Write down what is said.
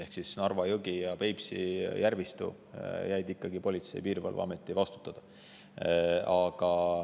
Ehk siis Narva jõgi ja Peipsi järvistu jäid ikkagi Politsei- ja Piirivalveameti vastutada.